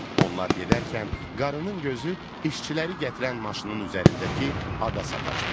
Onlar gedərkən qarının gözü işçiləri gətirən maşının üzərindəki ada sataşdı.